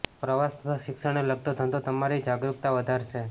પ્રવાસ તથા શિક્ષણને લગતો ધંધો તમારી જાગરૂકતા વધારશે